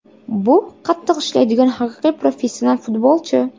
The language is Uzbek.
Bu qattiq ishlaydigan haqiqiy professional futbolchi.